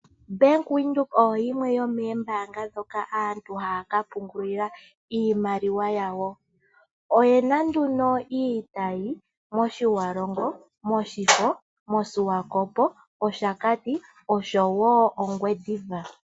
Bank Windhoek oyo yimwe yomoombanga ndhoka aantu haa ka pungulila iimaliwa yawo. Oyena iitayi moTjiwarongo, moShifo, moSwakopmund AK Plaza, mOshakati no sho woo mOngwediva.